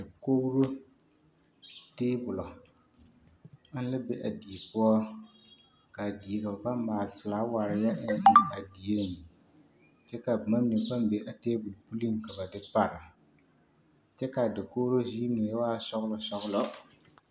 Dakoɡro teebulɔ ana la be a die poɔ ka a die ka ba paŋ maale felaaware a eŋ a dieŋ kyɛ ka boma mine meŋ paŋ be a teebul puliŋ ka ba kyɛ ka a dakoɡro ziiri mine waa sɔɡelɔsɔɡelɔ.